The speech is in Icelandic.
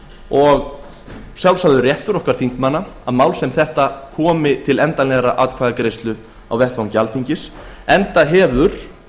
og réttur þingmanna að mál sem þetta komi til endanlegrar atkvæðagreiðslu á vettvangi alþingis enda hefur